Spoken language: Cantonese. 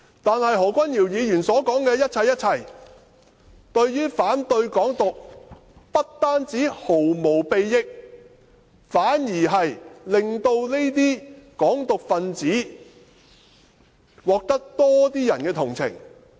但是，何君堯議員所說的一切，對於反對"港獨"，不但毫無裨益，反而令這些港獨分子獲得更多人同情。